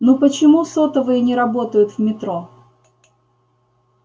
ну почему сотовые не работают в метро